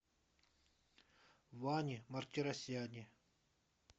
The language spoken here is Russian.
ване мартиросяне